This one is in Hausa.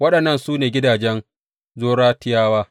Waɗannan su ne gidajen Zoratiyawa.